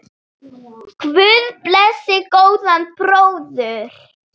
Guð blessi góðan bróður!